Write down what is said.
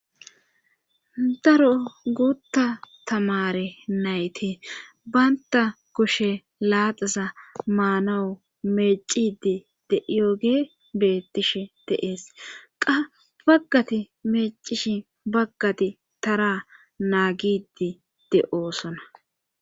Daro guutta tamare nayti baynta kushe laaxasa maanawu meecidi de'iyoge bettish deees. qa baggati meecishi baggati tara naagidi de'oosona.